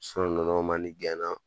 Son nunnu mandi gɛna.